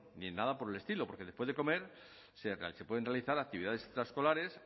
ni nada por el estilo porque después de comer se pueden realizar actividades extraescolares